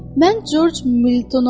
Mən Corc Miltonam.